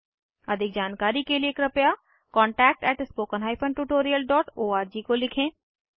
अधिक जानकारी के कृपया contactspoken tutorialorg को लिखें